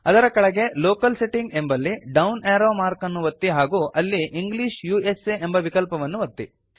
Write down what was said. ಅದರ ಕೆಳಗೆ locale setting ಎಂಬಲ್ಲಿ ಡೌನ್ ಏರೋ ಮಾರ್ಕ್ ಅನ್ನು ಒತ್ತಿ ಹಾಗೂ ಅಲ್ಲಿ ಇಂಗ್ಲಿಷ್ ಉಸಾ ಎಂಬ ವಿಕಲ್ಪವನ್ನು ಒತ್ತಿ